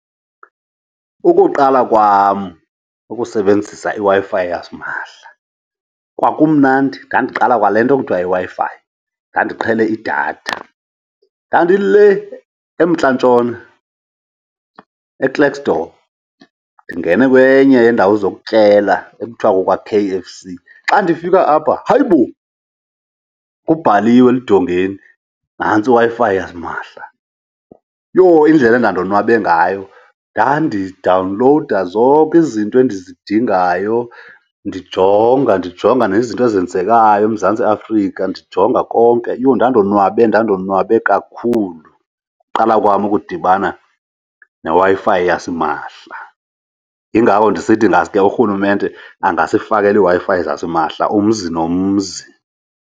Ukuqala kwam ukusebenzisa iWi-Fi yasimahla kwakumnandi, ndandiqala kwale into kuthiwa yiWi-fi, ndandiqhele idatha. Dandilee emntlantshona, eKlerksdorp, ndingene kwenye yeendawo zokutyela ekuthiwa kukwa-K_F_C. Xa difika apha, hayibo, kubhaliwe eludongeni nantsi iWi-Fi yasimahla. Yho, indlela endandonwabe ngayo! Ndadidawunlowuda zonke izinto endizidingayo, ndijonga, ndijonga nezinto ezenzekayo eMzantsi Afrika ndijonga konke. Yho, ndandonwabe, ndandonwabe kakhulu ukuqala kwam ukudibana neWi-Fi yasimahla! Yingakho ndisithi ingaske urhulumente angasifakela iWi-Fi zasimahla umzi nomzi.